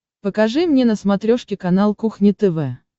покажи мне на смотрешке канал кухня тв